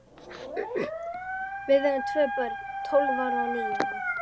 Við eigum tvö börn, tólf ára og níu ára.